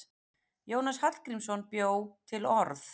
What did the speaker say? Jónas Hallgrímsson bjó til orð.